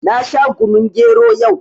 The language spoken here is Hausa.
Na sha kunun gero yau